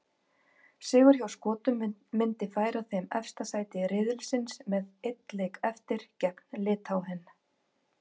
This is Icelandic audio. Sigur hjá Skotum myndi færa þeim efsta sæti riðilsins með einn leik eftir, gegn Litháen.